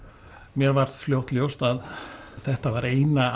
mér varð fljótt ljóst að þetta var eina